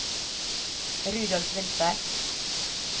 Rudolf Winther